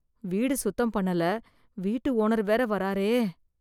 வீடு சுத்தம் பண்ணல வீட்டு ஓனர் வேற வராரே!